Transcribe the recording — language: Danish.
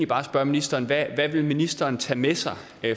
bare spørge ministeren hvad vil ministeren tage med sig